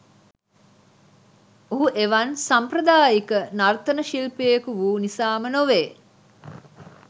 ඔහු එවන් සාම්ප්‍රදායික නර්තන ශිල්පියෙකු වූ නිසාම නොවේ.